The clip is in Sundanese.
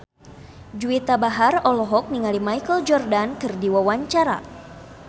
Juwita Bahar olohok ningali Michael Jordan keur diwawancara